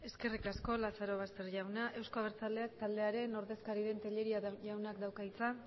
eskerrik asko lazaroboster jauna euzko abertzaleak taldearen ordezkari den tellería jaunak dauka hitza